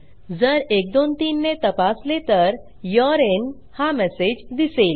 जर 123 ने तपासले तर यूरे युरिन इन हा मेसेज दिसेल